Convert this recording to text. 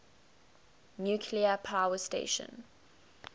nuclear power station